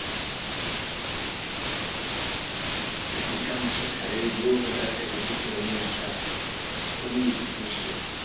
একটা গোটা মাসের salary দিয়েও হয়তো একটা কুকুর কে নিয়ে আশা খুবই মুশকিল